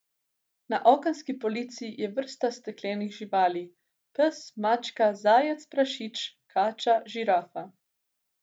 Na okenski polici je vrsta steklenih živali, pes, mačka, zajec, prašič, kača, žirafa.